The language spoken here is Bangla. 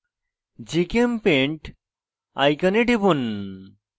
gchempaint icon টিপুন